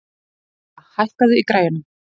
Dísa, hækkaðu í græjunum.